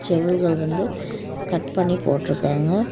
செதில்கள் வந்து கட் பண்ணி போட்டிருக்காங்க.